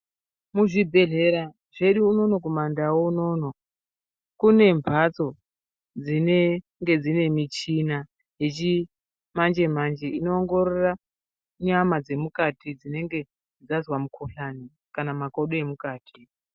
Muzvibhedhlera zvedu unono kumandau unono, kune mphatso dzinenge dzine michina yechimanje-manje, inoongorora nyama dzemukati dzinenge dzazwa mukhuhlani, kana makodo emukati.